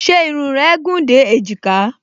Ṣé irun rẹ gùn dé èjìká?